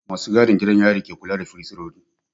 Ma su gadin gidan yari ke kula da fursunoni